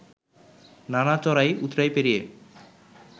নানা চড়াই উৎরাই পেরিয়ে